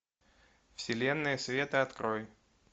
вселенная света открой